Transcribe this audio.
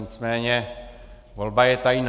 Nicméně volba je tajná.